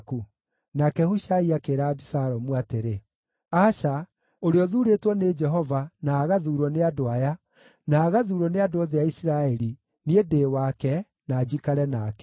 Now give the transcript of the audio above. Nake Hushai akĩĩra Abisalomu atĩrĩ, “Aca, ũrĩa ũthuurĩtwo nĩ Jehova, na agathuurwo nĩ andũ aya, na agathuurwo nĩ andũ othe a Isiraeli, niĩ ndĩ wake, na njikare nake.